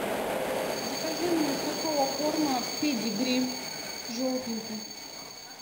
закажи мне сухого корма педигри желтенький